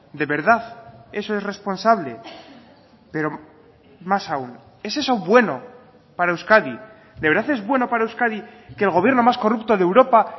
de verdad eso es responsable pero más aún es eso bueno para euskadi de verdad es bueno para euskadi que el gobierno más corrupto de europa